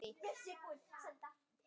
Ég vil ekki trúa því.